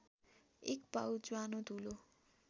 एक पाउ ज्वानो धूलो